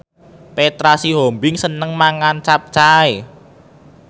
Petra Sihombing seneng mangan capcay